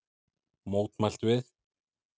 Mótmælt við